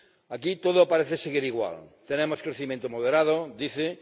Aquí todo parece seguir igual tenemos un crecimiento moderado ―dicen―.